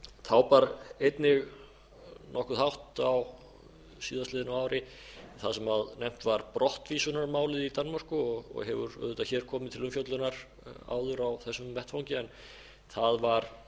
þá bar einnig nokkuð hátt á síðastliðnu ári það sem nefnt var brottvísunarmálið í danmörku og hefur auðvitað hér komið til umfjöllunar áður á þessum vettvangi en það var